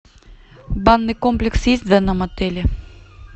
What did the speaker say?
банный комплекс есть в данном отеле